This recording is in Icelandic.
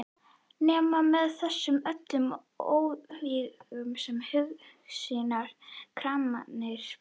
Nema með þessu öllu og óvígum her hugsýna kraminnar barnssálar.